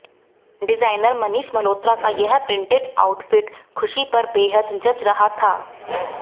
designer Manish Malhotra का यह printed outfit खुशी पर बेहद जच रहा था